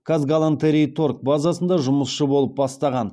казгалантерейторг базасында жұмысшы болып бастаған